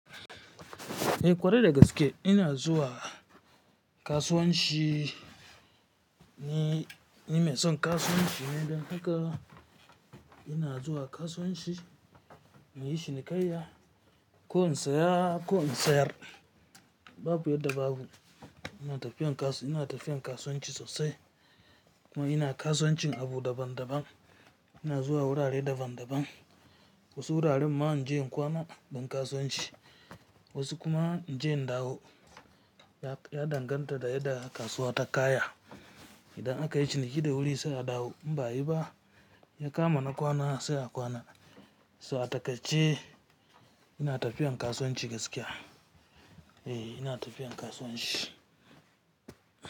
Eh kwarai da gaske ina zuwa kasuwanci ne, nime sonkasuwanci ne dan haka ina zuwa kasuwanci, nayi shinikaiya ko in siya ko in siyar. Babu yanda ba babu. Ina tafiyan kasu--, ina tafiyan kasuwanci sosai kuma ina kasuwancin abu daban daban. Ina zuwa wurare daban daban. Wasu wuraren man inje in kwana dan kasuwanci, wasu kuma inje in ɗawo ya ya danganta da yadda kasuwa ta kaya. Idan aka yi ciniki ɗe wuri sai a ɗawo in ba ayiba ya kama na kwana sai a kwana. To a takaice ina tafiya kasuwanci gaskiya. Eh ina tafiyan kasuwanci.